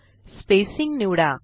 spacing निवडा